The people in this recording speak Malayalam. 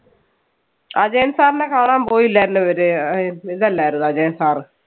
അജയൻ sir നെ കാണാൻ പോയില്ലായിരുന്നോ ഇവര് അഹ് ഇതല്ലായിരുന്നോ അജയൻ sir.